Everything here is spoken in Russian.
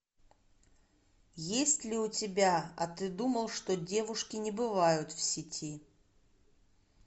есть ли у тебя а ты думал что девушки не бывают в сети